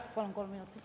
Palun kolm minutit.